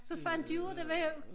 Så fandt de ud af der var